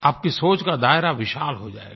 आपकी सोच का दायरा विशाल हो जायेगा